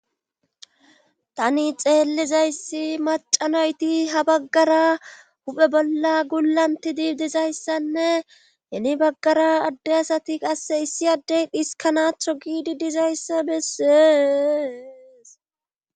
Tani xeellizayssi macanoyti ha baggara huphe bolla gulanti diibdizayssanne hini baggara adde asati qasse issi addey dhiskanaatho giidi dizayssa bessees.